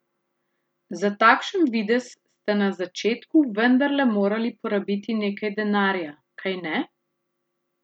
Za takšen videz ste na začetku vendarle morali porabiti nekaj denarja, kajne?